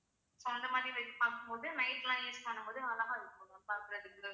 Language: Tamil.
so அந்த மாதிரி பார்க்கும் போது night லாம் use பண்ணும் போது அழகா இருக்கும் ma'am பாக்கறதுக்கு